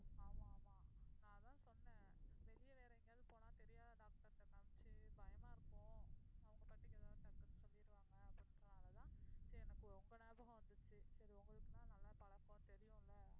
ஆமாம், ஆமாம், நான் அதான் சொன்னேன் வெளிய வேற எங்கேயாவது போனா தெரியாத doctor ட்ட காமிச்சு பயமா இருக்கும். அவங்க பாட்டுக்கு ஏதாவது டக்குன்னு சொல்லிடுவாங்க அப்படின்றதுனாலதான் சரி எனக்கு உங்க ஞாபகம் வந்துச்சு. சரி உங்களுக்குன்னா நல்லா பழக்கம், தெரியும் இல்ல,